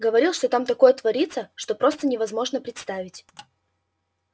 говорил что там такое творится что просто невозможно представить